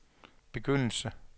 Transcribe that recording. begyndelse